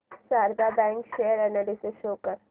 Sharda bank share analysis show कर